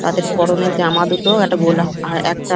তাদের পরনের জামা দেখেও একটা বলা হয় একটা--